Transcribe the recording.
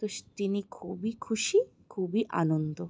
তুস তিনি খুব এই খুশি খুবই আনন্দ।